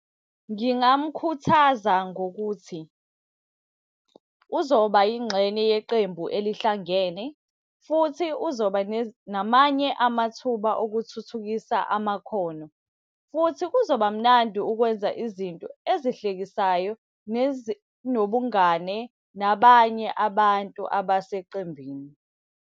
Ngingamkhuthaza ngokuthi, uzoba ingxenye yeqembu elihlangene, futhi uzoba namanye amathuba okuthuthukisa amakhono. Futhi kuzoba mnandi ukwenza izinto ezihlekisayo nezinobungane nabanye abantu abaseqembini.